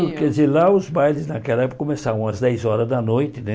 Quer dizer lá os bailes naquela época começavam às dez horas da noite, né?